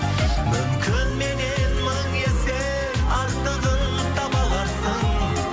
мүмкін меннен мың есе артығын таба аларсың